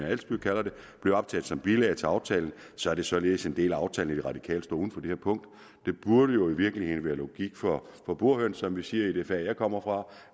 adsbøl kalder det blev optaget som bilag til aftalen så er det således en del af aftalen at de radikale står uden for det her punkt det burde jo i virkeligheden være logik for burhøns som vi siger i det fag jeg kommer fra